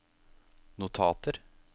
notater